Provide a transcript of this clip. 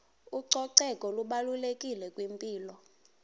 ucoceko lubalulekile kwimpilo